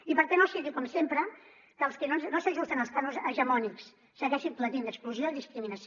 i perquè no sigui com sempre que els que no s’ajusten als cànons hegemònics segueixin patint exclusió i discriminació